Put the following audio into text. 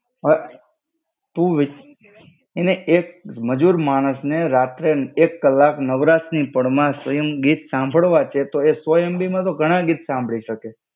હ. તું વી અને એક મજુર માણસને રાત્રે એક કલાક નવરાતની પળમાં સ્વય્મ ગીત સાંભળવા છે તો એ સો MB માં તો ઘણા ગીત સાંભળી શકે